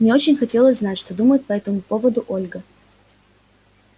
мне очень хотелось знать что думает по этому поводу ольга